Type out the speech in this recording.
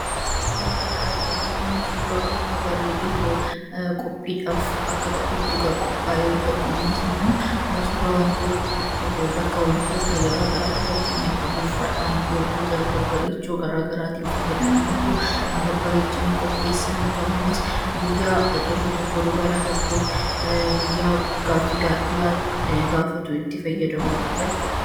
Suuraa kana irratti kan arginu suuraa bakka bareedee qophiidhaaf akka ta'utti qophaa'e yemmuu ta'u, innis ammoo suuraa bakka wantoota gara garaatin fakkeenyaaf afuuffaadhaanfi wantoota babbareedoo gara garaatiin fayyadamanii kan babbarechanii qopheessan yemmu ta'u, innis guyyaa dhiirri tokko dubara tokkoof guyyaa gaaffii gaa'elaa gaafatu itti fayyadamudha jechuudha.